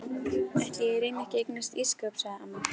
Ætli ég reyni ekki að eignast ísskáp sagði amma.